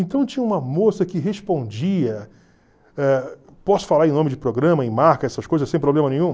Então tinha uma moça que respondia, ãh posso falar em nome de programa, em marca, essas coisas, sem problema nenhum?